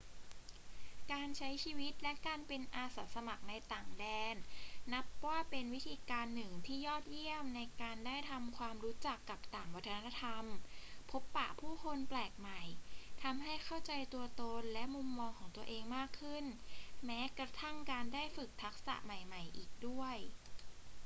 การใช้ชีวิตและการเป็นอาสาสมัครในต่างแดนนับว่าเป็นวิธีการหนึ่งที่ยอดเยี่ยมในการได้ทำความรู้จักกับต่างวัฒนธรรม พบปะผู้คนแปลกใหม่ ทำให้เข้าใจตัวตนและมุมมองของตัวเองมากขึ้น และแม้กระทั่งการได้ฝึกทักษะใหม่ ๆ อีกด้วย